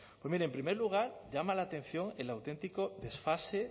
pues mire en primer lugar llama la atención el auténtico desfase